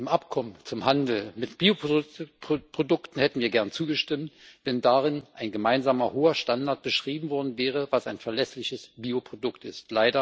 Dem Abkommen zum Handel mit Bioprodukten hätten wir gern zugestimmt, wenn darin ein gemeinsamer hoher Standard beschrieben worden wäre, was ein verlässliches Bioprodukt ist.